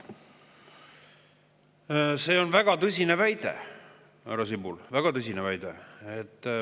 See on väga tõsine väide, härra Sibul, väga tõsine väide.